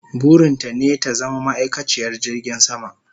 Burin ta ne ta zama ma'aikaciyar jirgin sama